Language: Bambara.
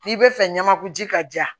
N'i bɛ fɛ ɲɛnɛmaku ji ka diyan